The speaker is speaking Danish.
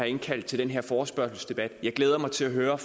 indkaldt til den her forespørgselsdebat jeg glæder mig til at høre